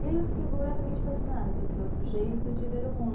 E aí eu fiquei completamente fascinada com esse outro jeito de ver o mundo.